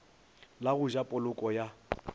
la go ja poloko ya